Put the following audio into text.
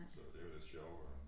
Så det jo lidt sjovt at